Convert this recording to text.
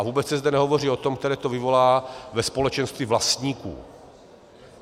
A vůbec se zde nehovoří o těch, které to vyvolá ve společenství vlastníků.